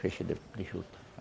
Feixe de juta